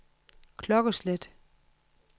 klokkeslæt